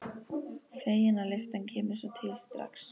Fegin að lyftan kemur svo til strax.